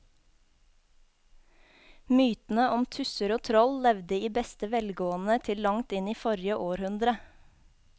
Mytene om tusser og troll levde i beste velgående til langt inn i forrige århundre.